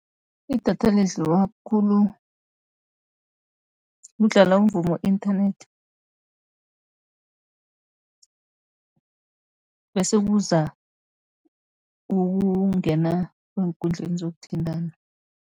Idatha lidliwa khulu kudlala umvumo inthanethi, bese kuza ukungena eenkundleni zokuthintana.